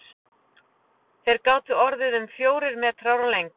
Þeir gátu orðið um fjórir metrar á lengd.